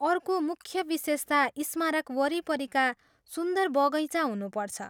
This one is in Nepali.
अर्को मुख्य विशेषता स्मारक वरिपरिका सुन्दर बगैँचा हुनुपर्छ।